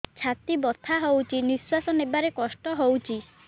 ଛାତି ବଥା ହଉଚି ନିଶ୍ୱାସ ନେବାରେ କଷ୍ଟ ହଉଚି